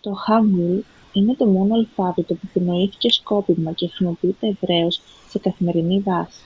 το χάνγκουλ είναι το μόνο αλφάβητο που επινοήθηκε σκόπιμα και χρησιμοποιείται ευρέως σε καθημερινή βάση.